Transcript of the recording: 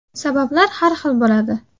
Sabablar har xil bo‘ladi.